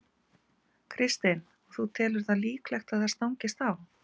Kristinn: Og þú telur það líklegt að það stangist þar á?